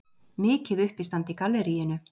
Mikið uppistand í galleríinu.